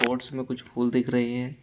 Pots में कुछ फूल दिख रहे हैं।